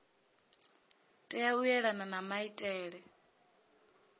tea u elana na maitele